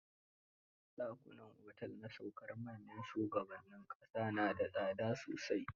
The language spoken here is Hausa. Ɗakunan otel na saukar manyan shugabannin ƙasa na da tsada sosai.